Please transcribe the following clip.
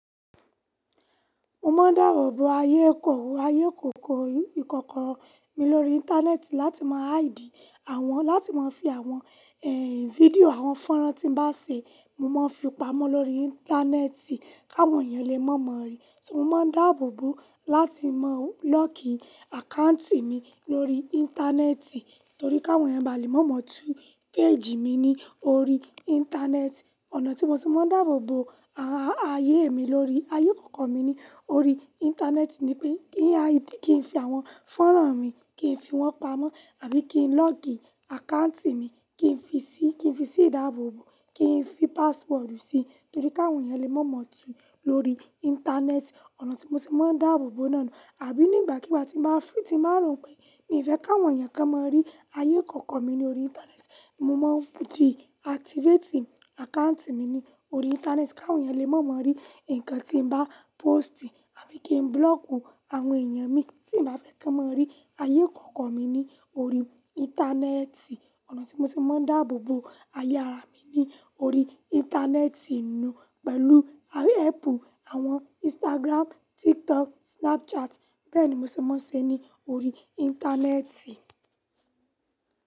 Mo máa ń dáàbò bo ayé ìkọ̀wé, ayé ìkòkò ìkọ̀kan mi lórí Íńtánẹ́ẹ̀tì láti máa haidi àwọn, láti máa fi àwọn, ẹ́, fídíò àwọn fọ́nrán tí bá ṣé, mo máa ń fi pamọ́ lórí Íńtánẹ́ẹ̀tì káwọn èèyàn lè mọ̀ ọ́n rí. So mo máa ń dáàbò bo láti máa lọ́ọ̀kì àkáǹtì mi lórí Íńtánẹ́ẹ̀tì torí káwọn èèyàn bá lè mọ̀ mọ̀ọ́ tún péèjì mi ní orí Íńtánẹ́ẹ̀tì. Ọ̀nà tí mo ti máa ń dáàbò bo àààyè mi lórí ayé ìkọ̀kò mi ní orí Íńtánẹ́ẹ̀tì ni pé kí n fi àwọn fọ́nrán mi, kí n fi wọ́n pamọ́ àbí kí n lọ́ọ̀kì àkáǹtì mi, kí n fi sí, kí n fi sí ìdáàbò bo, kí n fi páswọ́dù sí, torí káwọn èèyàn lè mọ̀ mọ̀ọ́ tún lórí Íńtánẹ́ẹ̀tì. Ọ̀nà tí mo ti máa ń dáàbò bo náà ni àbí nígbàkigbà tí màá fún, tí màá rò pé mi ò fẹ́ káwọn èèyàn ká mọ́ rí ayé ìkọ̀kan mi ní orí Íńtánẹ́ẹ̀tì, mo máa ń bùjí àtívétì àkáǹtì mi ní orí Íńtánẹ́ẹ̀tì káwọn èèyàn lè mọ̀ mọ́ rí nǹkan tí n bá pósìtì àbí kí n búrọ́ọ̀kù àwọn èèyàn mi tí ì bá fẹ́ kán mọ́ rí ayé ìkọ̀kò mi ní orí Íńtánẹ́ẹ̀tì. Ọ̀nà tí mo ti máa ń dáàbò bo àyà mí ní orí Íńtánẹ́ẹ̀tì nù pẹ̀lú áápù àwọn Instagram, TikTok, Snapchat. Bẹ́ẹ̀ ni mo ti máa ń ṣe ní orí Íńtánẹ́ẹ̀tì.